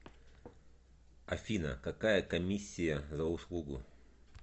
афина какая комиссия за услугу